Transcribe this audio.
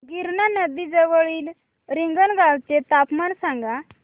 गिरणा नदी जवळील रिंगणगावाचे तापमान सांगा